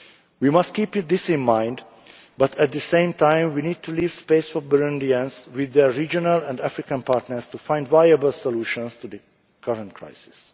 elements. We must keep this in mind but, at the same time, we need to leave space for Burundians with their regional and African partners to find viable solutions to be current